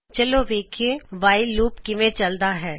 ਚਲੋ ਵੇਖਿਏ while loop ਕਿਂਵੇ ਚਲ਼ਦਾ ਹੈ